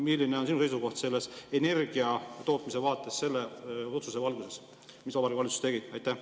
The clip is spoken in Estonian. Milline on sinu seisukoht selles energiatootmise vaates selle otsuse valguses, mis Vabariigi Valitsus tegi?